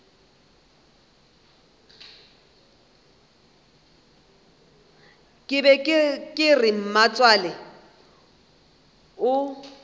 be ke re mmatswale o